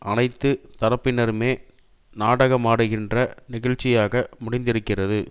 அனைத்து தரப்பினருமே நாடகமாடுகின்ற நிகழ்ச்சியாக முடிந்திருக்கிறது